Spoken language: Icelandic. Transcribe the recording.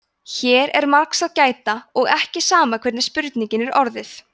hér er margs að gæta og ekki sama hvernig spurningin er orðuð